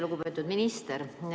Lugupeetud minister!